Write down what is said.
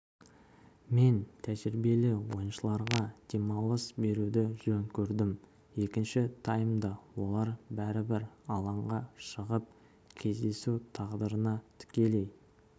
мен тәжірибелі ойыншыларға демалыс беруді жөн көрдім екінші таймда олар бәрібір алаңға шығып кездесу тағдырына тікелей